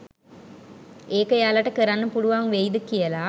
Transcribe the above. ඒක එයාලට කරන්න පුළුවන් වෙයිද කියල